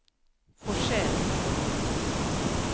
Forsell